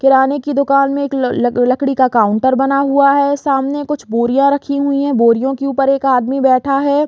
किराने की दुकान में एक ल-ल-लकड़ी का काउंटर बना हुआ है सामने कुछ बोरियां रखी हुई है बोरियो के ऊपर एक आदमी बैठा है।